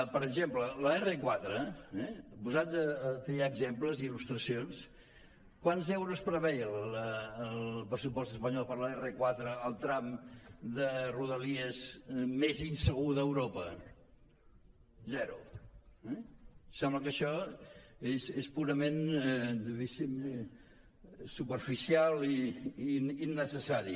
per exemple l’r4 posats a triar exemples i il·lustracions quants euros preveia el pressupost espanyol per a l’r4 el tram de rodalies més insegur d’europa zero eh sembla que això és purament superficial i innecessari